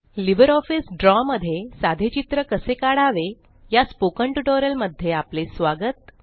LibreOffice Draw मध्ये साधे चित्र कसे काढावे या स्पोकन ट्यूटोरियल मध्ये आपले स्वागत